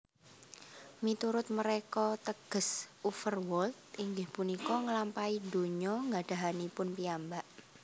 Miturut mereka teges Uverworld inggih punika ngelampai donya gadahanipun piyambak